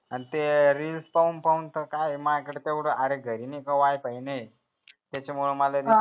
आणि ते reels पाहून पाहून त माया कडे काय तेवढं अरे घरी नई का wi-fi नाहीए त्याचा मुळे